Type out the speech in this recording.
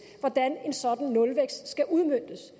hvordan en sådan nulvækst skal udmøntes